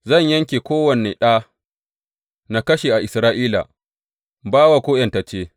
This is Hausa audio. Zan yanke kowane ɗa na ƙarshe a Isra’ila, bawa ko ’yantacce.